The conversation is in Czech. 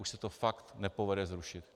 Už se to pak nepovede zrušit.